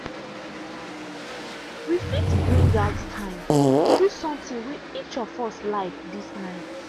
we fit bring out time do something way each of us like this night.